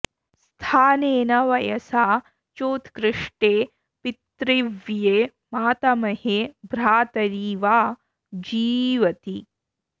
स्थानेन वयसा चोत्कृष्टे पितृव्ये मातामहे भ्रातरि वा जीवति